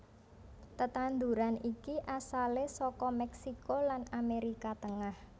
Tetanduran iki asalé saka Mèksiko lan Amérika Tengah